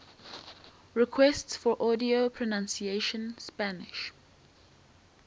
requests for audio pronunciation spanish